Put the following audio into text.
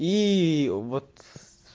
и вот с